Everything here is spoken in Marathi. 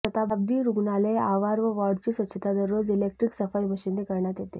शताब्दी रुग्णालय आवार व वॉर्डाची स्वच्छता दररोज इलेक्ट्रॉनिक सफाई मशिनने करण्यात येते